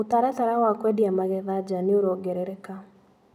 mũtaratara wa kũendia magetha nja nĩũrongerereka.